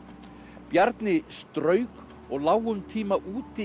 Bjarni strauk lá um tíma úti í